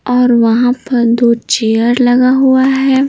और वहाँ पर दो चेयर लगा हुआ है।